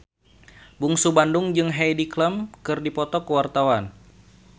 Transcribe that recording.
Bungsu Bandung jeung Heidi Klum keur dipoto ku wartawan